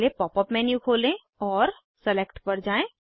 पहले pop up menu खोलें और सिलेक्ट पर जाएँ